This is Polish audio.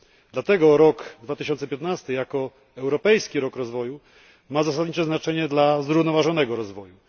Dlatego rok 2015, jako Europejski Rok na rzecz Rozwoju, ma zasadnicze znaczenie dla zrównoważonego rozwoju.